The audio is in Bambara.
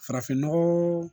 Farafin nɔgɔ